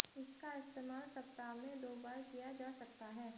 इसका इस्तेमाल सप्ताह में दो बार किया जा सकता है